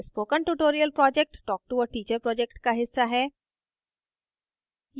spoken tutorial project talktoa teacher project का हिस्सा है